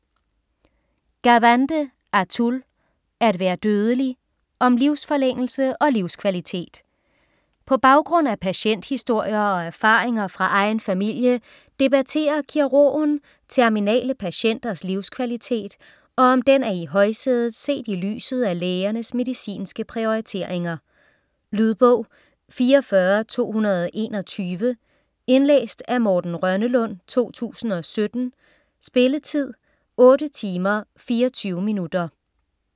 Gawande, Atul: At være dødelig: om livsforlængelse og livskvalitet På baggrund af patienthistorier og erfaringer fra egen familie debatterer kirurgen terminale patienters livskvalitet, og om den er i højsædet set i lyset af lægernes medicinske prioriteringer. Lydbog 44221 Indlæst af Morten Rønnelund, 2017. Spilletid: 8 timer, 24 minutter.